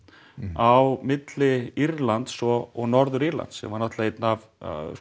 á milli Írlands og Norður Írlands sem var náttúrulega einn af